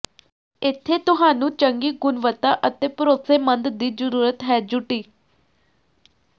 ਇੱਥੇ ਤੁਹਾਨੂੰ ਚੰਗੀ ਗੁਣਵੱਤਾ ਅਤੇ ਭਰੋਸੇਮੰਦ ਦੀ ਜ਼ਰੂਰਤ ਹੈ ਯੂਟਿ